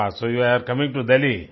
वाह so you are coming to Delhi